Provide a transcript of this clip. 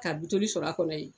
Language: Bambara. Ka bitɔli sɔrɔ a kɔnɔ yen.